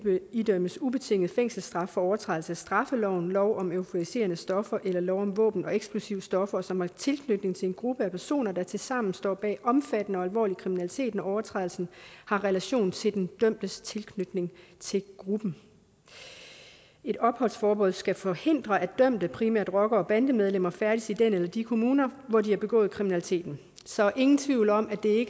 idømmes ubetinget fængselsstraf for overtrædelse af straffeloven lov om euforiserende stoffer eller lov om våben og eksplosive stoffer og som har tilknytning til en gruppe af personer der tilsammen står bag omfattende og alvorlig kriminalitet når overtrædelsen har relation til den dømtes tilknytning til gruppen et opholdsforbud skal forhindre at dømte primært rockere og bandemedlemmer færdes i den eller de kommuner hvor de har begået kriminaliteten så ingen tvivl om at det